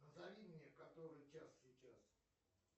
назови мне который час сейчас